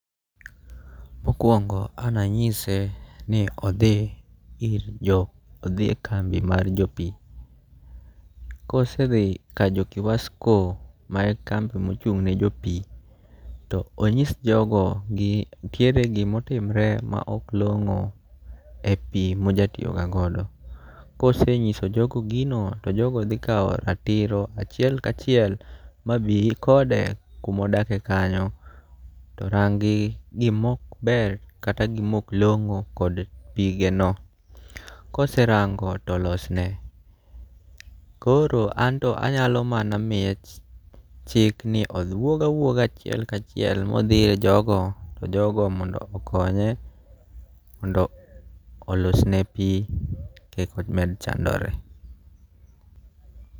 Mokuongo' an anyise ni othi ir jo othie kambi mar jo pi, kose thi kajokiwasko mae kambi ma ochung'ne jo pi to onyis jogo ni nitiere gima otimre ma ok longo' e pi moja tiyogagodo, kosenyiso jogo gino to jogo thi kawo ratiro kachiel kachiel mabi kode kuma odake kanyo rangi' gima ok ber kata gi ma ok longo' kod pigeno , koserango' to olosne , koro anto anyalo mana miye chik ni owuoga wuoga achiel kachiel mothie ir jogo to jogo mondo okonye mondo olosne pi mondo kik omed chandore.